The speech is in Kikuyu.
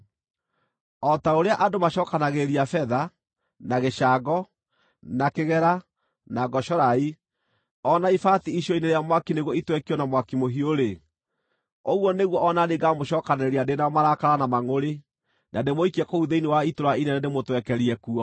O ta ũrĩa andũ macookanagĩrĩria betha, na gĩcango, na kĩgera, na ngocorai, o na ibati icua-inĩ rĩa mwaki nĩguo itwekio na mwaki mũhiũ-rĩ, ũguo nĩguo o na niĩ ngaamũcookanĩrĩria ndĩ na marakara na mangʼũrĩ, na ndĩmũikie kũu thĩinĩ wa itũũra inene ndĩmũtwekerie kuo.